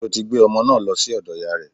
Ṣé o ti gbé ọmọ naa lọ sí ọ̀dọ̀ ìyáa rẹ̀?